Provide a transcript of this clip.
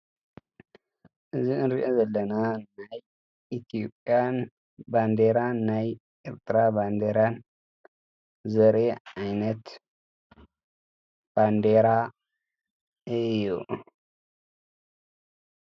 እዝ እንርአ ዘለና ናይ ኢትዩጵያን ባንዴራን ናይ ኤርድራ ባንዴራን ዘሬየ ዓይነት ባንዴራ ኢዩ።